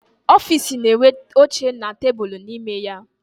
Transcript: Ọfịịsi na-enwe oche na tebulu n'ime ya.